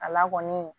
A la kɔni